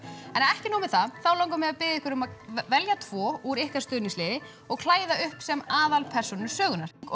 ekki nóg með það þá langar mig að biðja ykkur að velja tvo úr ykkar stuðningsliði og klæða upp sem aðalpersónur sögunnar